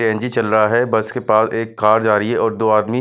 CNG चल रहा है बस के पास एक कार जा रही है और दो आदमी--